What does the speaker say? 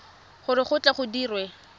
gore go tle go dirwe